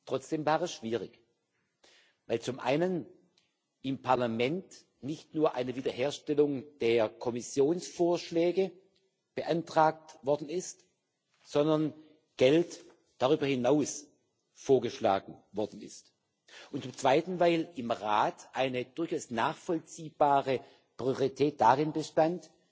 Trotzdem war es schwierig, weil zum einen im Parlament nicht nur eine Wiederherstellung der Kommissionsvorschläge beantragt worden ist, sondern Geld darüber hinaus vorgeschlagen worden ist und weil zum Zweiten im Rat eine durchaus nachvollziehbare Priorität darin bestand,